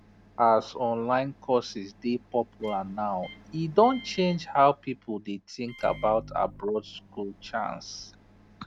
as online courses dey popular now e don change how people dey think about abroad school chance